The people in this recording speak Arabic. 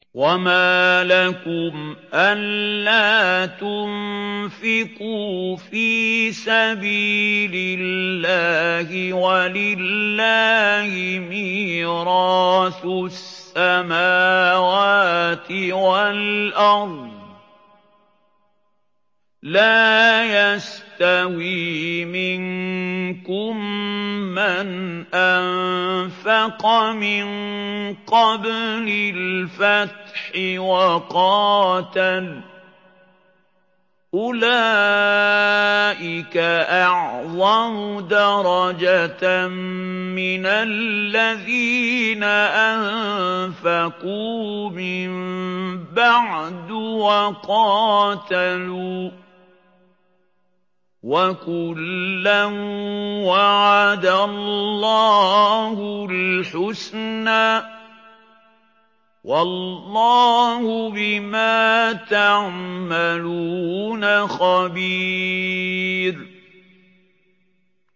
وَمَا لَكُمْ أَلَّا تُنفِقُوا فِي سَبِيلِ اللَّهِ وَلِلَّهِ مِيرَاثُ السَّمَاوَاتِ وَالْأَرْضِ ۚ لَا يَسْتَوِي مِنكُم مَّنْ أَنفَقَ مِن قَبْلِ الْفَتْحِ وَقَاتَلَ ۚ أُولَٰئِكَ أَعْظَمُ دَرَجَةً مِّنَ الَّذِينَ أَنفَقُوا مِن بَعْدُ وَقَاتَلُوا ۚ وَكُلًّا وَعَدَ اللَّهُ الْحُسْنَىٰ ۚ وَاللَّهُ بِمَا تَعْمَلُونَ خَبِيرٌ